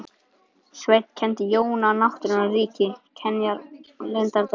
Sveinn kenndi Jóni á náttúrunnar ríki, kenjar og leyndardóma.